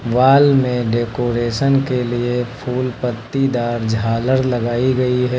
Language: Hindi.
वॉल में डेकोरेशन के लिए फूल पट्टीदार झालर लगाई गई है।